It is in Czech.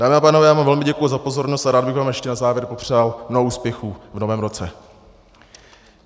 Dámy a pánové, já vám velmi děkuji za pozornost a rád bych vám ještě na závěr popřál mnoho úspěchů v novém roce.